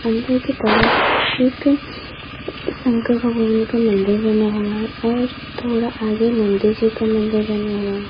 अंदर की तरफ एक शंकर भगवान का मंदिर बना हुआ है और थोड़ा आगे नन्दिजि का मंदिर बना हुआ है।